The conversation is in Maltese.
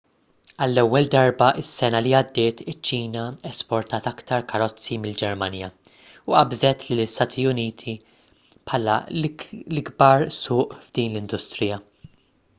għall-ewwel darba is-sena li għaddiet iċ-ċina esportat aktar karozzi mill-ġermanja u qabżet lill-istati uniti bħala l-ikbar suq f'din l-industrija